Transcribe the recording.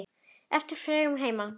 Eftir fregnum að heiman.